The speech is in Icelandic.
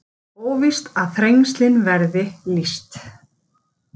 Óvíst að Þrengslin verði lýst